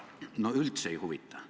No üldse ei huvita!